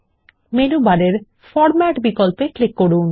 menu বারে format বিকল্পে click করুন